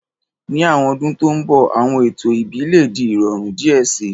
Ni awọn ọdun to nbọ, awọn eto ẹbi le di irọrun diẹ sii